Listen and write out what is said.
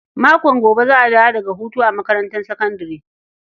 Makon gobe za a dawo daga hutu a makarantar sakandare.